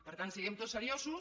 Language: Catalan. per tant siguem tots seriosos